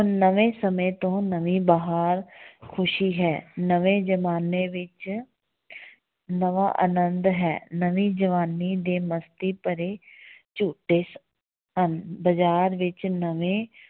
ਨਵੇਂ ਸਮੇਂ ਤੋਂ ਨਵੀਂ ਬਹਾਰ ਖ਼ੁਸ਼ੀ ਹੈ ਨਵੇਂ ਜਮਾਨੇ ਵਿੱਚ ਨਵਾਂ ਆਨੰਦ ਹੈ, ਨਵੀਂ ਜਵਾਨੀ ਦੇ ਮਸਤੀ ਭਰੇ ਝੂਟੇ ਹਨ, ਬਾਜ਼ਾਰ ਵਿੱਚ ਨਵੇਂ